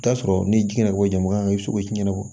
I bi t'a sɔrɔ ni ji ɲɛnabɔ jama ye i bɛ se k'o ci ɲɛnabɔ